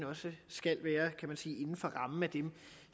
også skal være kan man sige inden for rammen af dem